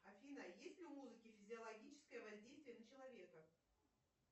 афина есть ли у музыки физиологическое воздействие на человека